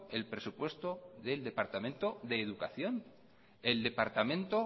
el presupuesto del departamento de educación el departamento